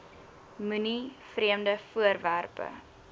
moenie vreemde voorwerpe